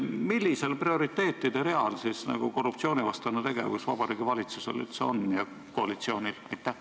Millisel prioriteetide real korruptsioonivastane tegevus Vabariigi Valitsusel ja koalitsioonil üldse on?